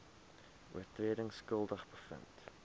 oortredings skuldig bevind